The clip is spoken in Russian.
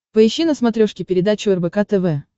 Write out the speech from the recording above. поищи на смотрешке передачу рбк тв